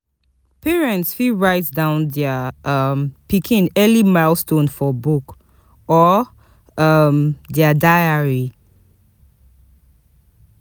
Parents fit write down dia um pikin early milestone for book or um dia diary